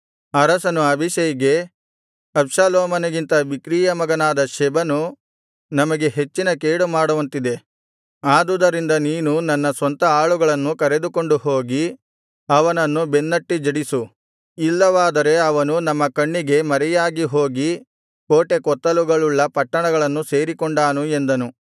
ಅರಸನು ಅಬೀಷೈಗೆ ಅಬ್ಷಾಲೋಮನಿಗಿಂತ ಬಿಕ್ರೀಯ ಮಗನಾದ ಶೆಬನು ನಮಗೆ ಹೆಚ್ಚಿನ ಕೇಡು ಮಾಡುವಂತಿದೆ ಆದುದರಿಂದ ನೀನು ನನ್ನ ಸ್ವಂತ ಆಳುಗಳನ್ನು ಕರೆದುಕೊಂಡು ಹೋಗಿ ಅವನನ್ನು ಬೆನ್ನಟ್ಟಿಜಡಿಸು ಇಲ್ಲವಾದರೆ ಅವನು ನಮ್ಮ ಕಣ್ಣಿಗೆ ಮರೆಯಾಗಿ ಹೋಗಿ ಕೋಟೆಕೊತ್ತಲುಗಳುಳ್ಳ ಪಟ್ಟಣಗಳನ್ನು ಸೇರಿಕೊಂಡಾನು ಎಂದನು